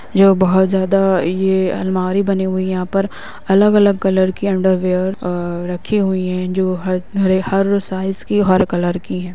जो बहुत ज्यादा ये अलमारी बनी हुई है यहाँ पर अलग अलग कलर की अंडरवियर अ रखी हुई हैं जो हर साइज़ की हर कलर की हैं।